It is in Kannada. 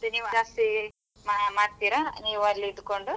ಜಾಸ್ತಿ ಮಾ~ ಮಾಡ್ತೀರಾ ನೀವು ಅಲ್ಲಿ ಇದ್ದುಕೊಂಡು?